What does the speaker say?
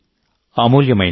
అమూల్యమైంది